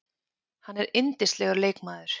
Hann er yndislegur leikmaður